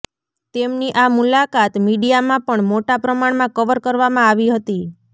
તેમની આ મુલાકાત મીડિયામાં પણ મોટા પ્રમાણમાં કવર કરવામાં આવી હતી